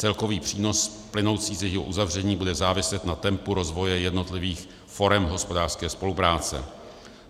Celkový přínos plynoucí z jejího uzavření bude záviset na tempu rozvoje jednotlivých forem hospodářské spolupráce.